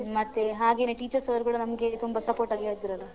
ಮತ್ತೆ ಹಾಗೆನೇ teachers ಅವರೂ ಕೂಡ ನಮ್ಗೆ ತುಂಬಾ support ಆಗ್ಯೇ ಇದ್ರಲ್ಲ.